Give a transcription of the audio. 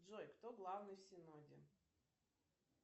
джой кто главный в синоде